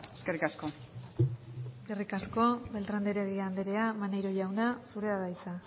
eskerrik asko eskerrik asko beltrán de heredia andrea maneiro jauna zurea da hitza